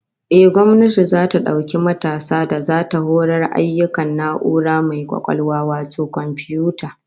Ehh, gwamnati zata dauki matasa da zata horar ayyukan na'ura mai kwakwalwa wato komfiyuta